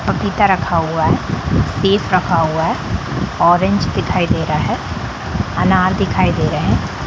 पपीता रखा हुआ है सेब रखा हुआ है ऑरेंज दिखाई दे रहा है अनार दिखाई दे रहे हैं।